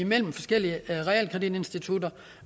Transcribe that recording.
mellem forskellige realkreditinstitutter